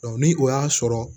ni o y'a sɔrɔ